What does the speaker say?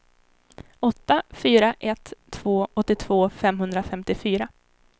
åtta fyra ett två åttiotvå femhundrafemtiofyra